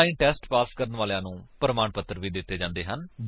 online test pass ਕਰਨ ਵਾਲਿਆਂ ਨੂੰ ਪ੍ਰਮਾਣ ਪੱਤਰ ਵੀ ਦਿੱਤੇ ਜਾਂਦੇ ਹਨ